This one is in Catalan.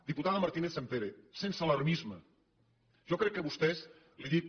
diputada martínez sampere sense alarmisme jo crec que vostè li dic